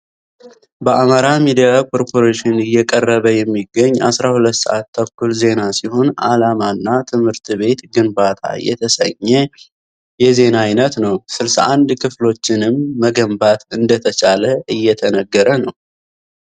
በአማራ ሚዲያ ኮርፖሬሽን እየቀረበ የሚገኝ 12 ሰአት ተኩል ዜና ሲሆን አለማና ትምህርት ቤት ግንባታ የተሰኘ የዜና አይነት ነው። 61 ክፍሎችንም መገንባት እንደተቻለ እየተነገረ ነው።